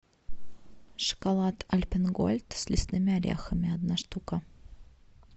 шоколад альпен гольд с лесными орехами одна штука